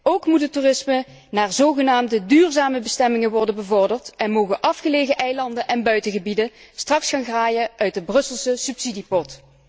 Ook moet het toerisme naar zogenaamde duurzame bestemmingen worden bevorderd en mogen afgelegen eilanden en buitengebieden straks gaan graaien uit de Brusselse subsidiepot.